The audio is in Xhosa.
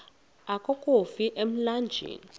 akofi ka emlanjeni